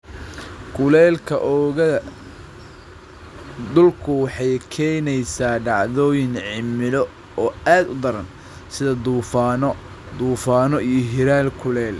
Kulaylka oogada dhulku waxay keenaysaa dhacdooyin cimilo oo aad u daran, sida duufaanno, duufaanno iyo hirar kulayl.